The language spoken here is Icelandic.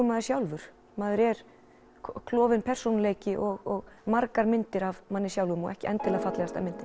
maður sjálfur maður er klofinn persónuleiki og margar myndir af manni sjálfum og ekki endilega fallegasta myndin